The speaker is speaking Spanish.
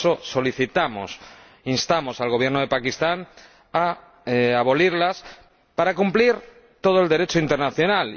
Por eso, solicitamos, instamos al Gobierno de Pakistán a abolirlas para cumplir todo el Derecho internacional.